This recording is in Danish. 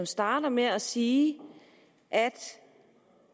starter med at sige at